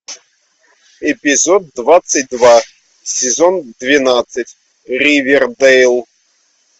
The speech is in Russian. эпизод двадцать два сезон двенадцать ривердейл